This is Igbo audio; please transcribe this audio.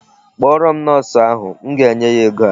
Kpọrọ m Nọọsụ ahụ. M ga-enye ya ego a.